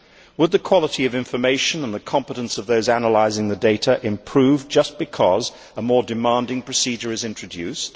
Would the quality of information and the competence of those analysing the data improve just because a more demanding procedure was introduced?